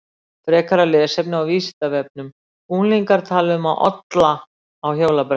Frekara lesefni á Vísindavefnum Unglingar tala um að olla á hjólabrettum.